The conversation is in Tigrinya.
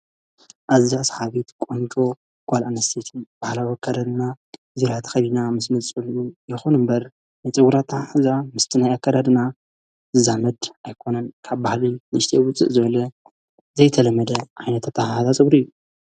ኣዛ ሰሓቤት ቆንዶ ጓል እንስትን በሓላ ወርከረድና ዚራ ተኸዲና ምስ ም ጽልኡ የኾኑ እምበር ነጽጕራታ ሕዛ ምስ ትነይያከረድና ዛመድ ኣይኮነን ካብ ባሕልይ ንሽጢ ውፅእ ዘበለ ዘይተለመደ ዓይነተ ኣተሓዛጽብሪ እዩ።